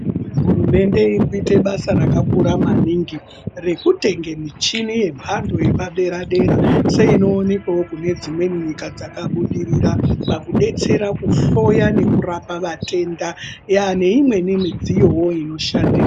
Hurumende iri kuite basa rakakura maningi rekutenge michini yamhando yepadera dera seinoonekwawo kune dzimweni dzakabudirira pakudetsera kuhloya nekurapa vatenda neimweni midziyowo inoshandiswa.